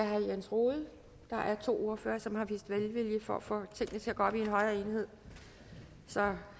herre jens rohde der er to ordførere som har vist velvilje for at få tingene til at gå op i en højere enhed så